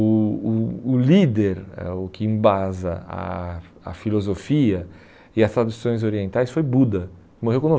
O o o líder, eh o que embasa a a filosofia e as traduções orientais foi Buda, que morreu com